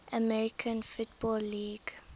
american football league